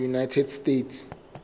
united states